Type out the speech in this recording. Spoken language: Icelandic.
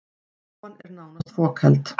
Stofan er nánast fokheld